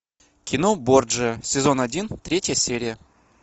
кино борджиа сезон один третья серия